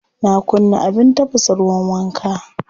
Na kunna abin tafasa ruwan wanka.